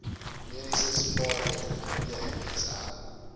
mediese spaarrekening pmsr